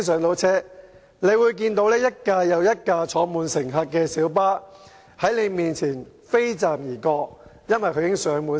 局長應該會看到一部又一部載滿乘客的小巴，在他面前"飛站"，原因是全車滿座。